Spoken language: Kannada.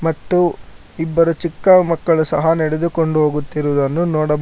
ಮತ್ತು ಇಬ್ಬರು ಚಿಕ್ಕ ಮಕ್ಕಳು ಸಹ ನಡೆದುಕೊಂಡು ಹೋಗುತ್ತಿರುವುದನ್ನು ನೋಡಬಹು--